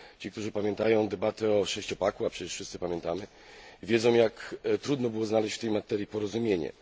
Ci, którzy pamiętają debatę o sześciopaku, a przecież wszyscy pamiętamy, wiedzą, jak trudno było znaleźć w tej materii porozumienie.